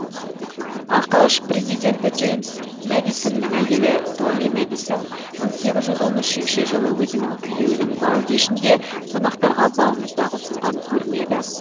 ақш президенті джеймс мадисонның әйелі долли мадисон мың сегіз жүз он үшінші жылы өзінің күйеуінің бал кешінде қонақтарға балмұздақ ұсынған көрінеді